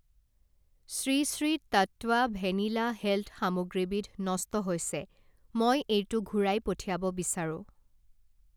Shri Shri Tattva vanilla health সামগ্ৰীবিধ নষ্ট হৈছে, মই এইটো ঘূৰাই পঠিয়াব বিচাৰোঁ।